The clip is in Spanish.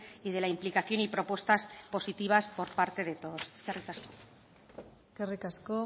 y de la implicación y propuestas positivas por parte de todos eskerrik asko eskerrik asko